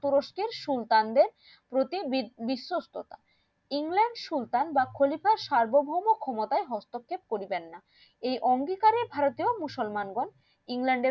তুরুস্কের সুলতানদের প্রতি বিসশস্ততা ইংরেজ সুলতান বা খলিফার সার্বভৌম ক্ষমতায় হস্তক্ষেপ করিবেন না এই অঙ্গীকারে ভারতের মুসলমান রা ইংল্যান্ডের